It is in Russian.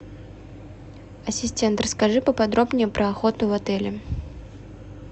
ассистент расскажи поподробнее про охоту в отеле